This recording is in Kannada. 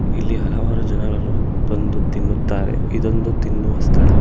ಇಲ್ಲಿ ಹಲವಾರು ಜನ ರು ಬಂದು ತಿನ್ನುತ್ತಾರೆ ಇದೊಂದು ತಿನ್ನುವ ಸ್ಥಳ.